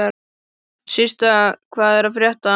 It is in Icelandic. Systa, hvað er að frétta?